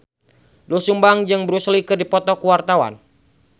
Doel Sumbang jeung Bruce Lee keur dipoto ku wartawan